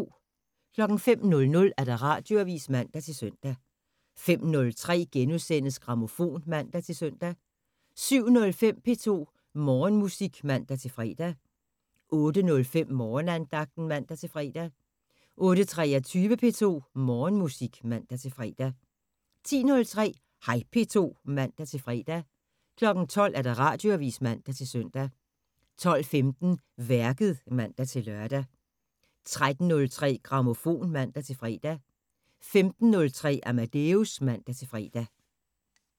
05:00: Radioavisen (man-søn) 05:03: Grammofon *(man-søn) 07:05: P2 Morgenmusik (man-fre) 08:05: Morgenandagten (man-fre) 08:23: P2 Morgenmusik (man-fre) 10:03: Hej P2 (man-fre) 12:00: Radioavisen (man-søn) 12:15: Værket (man-lør) 13:03: Grammofon (man-fre) 15:03: Amadeus (man-fre)